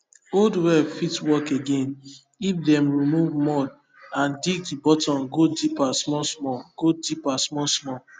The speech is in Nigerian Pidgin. old well fit work again if dem remove mud and dig di bottom go deeper smallsmall go deeper smallsmall